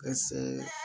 Ka se